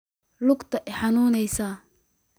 Luugta iixanuneysa.